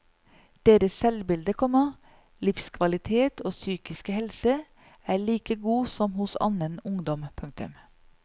Deres selvbilde, komma livskvalitet og psykiske helse er like god som hos annen ungdom. punktum